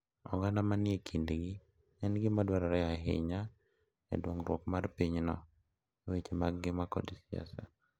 Oganda ma ni e kindgi en gima dwarore ahinya e dongruok mar pinyno e weche mag ngima kod siasa.